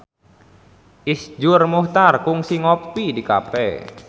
Iszur Muchtar kungsi ngopi di cafe